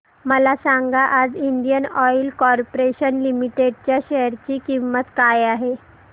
मला सांगा आज इंडियन ऑइल कॉर्पोरेशन लिमिटेड च्या शेअर ची किंमत काय आहे